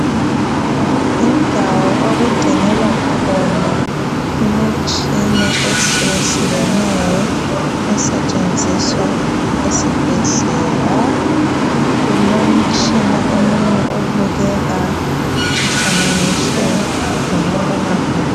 Yindawo okugcinelwa khona imitshina etshiyetshiyeneyo esetshenziswa esibhedlela. Kulomtshina omunye obukeka ufananiswe lomabonakude